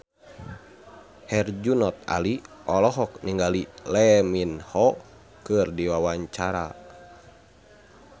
Herjunot Ali olohok ningali Lee Min Ho keur diwawancara